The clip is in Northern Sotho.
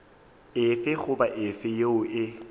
efe goba efe yeo e